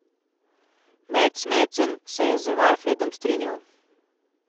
Mads Madsen se je z Valfredom strinjal.